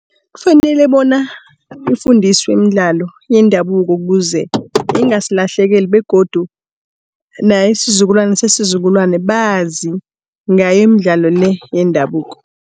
Kufanele bona ifundiswe imidlalo yendabuko ukuze ingasilahlekeli begodu naye isizukulwane sesizukulwane bazi ngayi imidlalo le yendabuko.